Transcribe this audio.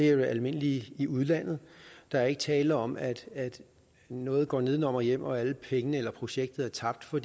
er almindeligt i udlandet der er ikke tale om at noget går nedenom og hjem og at alle pengene eller projektet er tabt for